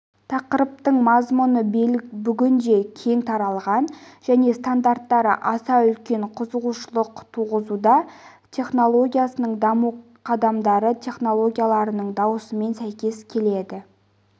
тақырыптың мазмұны бүгінде кең таралған және стандарттары аса үлкен қызығушылық туғызуда технологиясының даму қадамдары технологияларының дамуымен сәйкес келеді